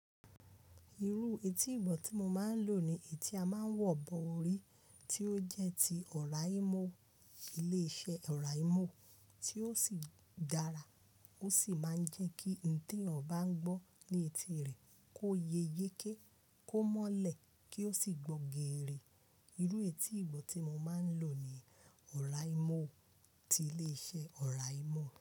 Irú etí ìgbọ́ tí mo máa ń lò ni etí a máa ń wọ̀ bọ orí, tí ó jẹ́ ti ọ̀ráímòwò ilé iṣẹ́ ọ̀ráìmọ́wò, tí ó sì dára. Ó sì máa ń jẹ́ kí oun tí èeyàn bá n gbọ́ ní etí rẹ̀ kó yẹ yéké, kó mọ́lẹ̀, kó sì gbọ́ geere. Irú etí ìgbọ́ tí mo máa ń lò ní ọ̀ráìmọ́wò ti ilé iṣẹ́ ọ̀ráìmọ́wò.